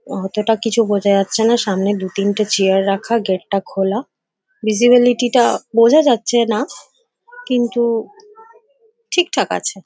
অতোটা কিছু বোঝা যাচ্ছে নাসামনে দু তিনটে চেয়ার রাখা । গেট -টা খোলা । ভিসিবিলিটি -টা বোঝা যাচ্ছে না কিন্তু ঠিক ঠাক আছে ।